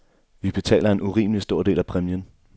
Vi betaler en urimelig stor del af præmien.